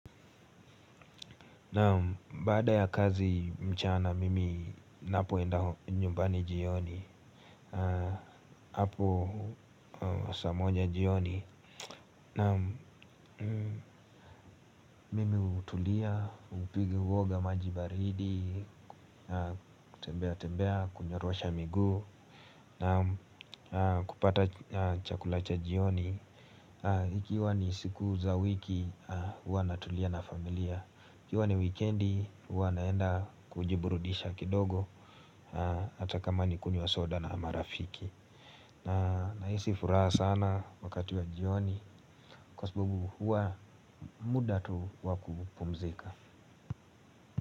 Baada ya kazi mchana mimi napoenda nyumbani jioni hapo saa moja jioni. Mimi hutulia, huwoga maji baridi. Kutembea tembea, kunyorosha migu kupata chakula cha jioni. Ikiwa ni siku za wiki, huwa natulia na familia. Ikiwa ni wikendi, huwa naenda kujiburudisha kidogo. Ata kama nikunywa soda na marafiki na hisi furaha sana wakati wa jioni. Kwa sababu huwa muda tu wakupumzika.